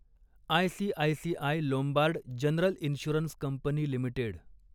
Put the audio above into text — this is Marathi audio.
ICICI Lombard general insurance company limited